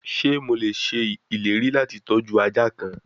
Ṣe Mo le ṣe ileri lati tọju aja kan?